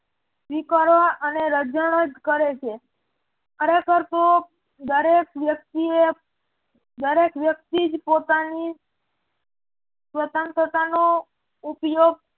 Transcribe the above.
સ્વીકારવા અને રઝણ જ કરે છે ખરેખર તો દરેક વ્યક્તિ જ પોતાની સ્વતંત્રતાનો ઉપયોગ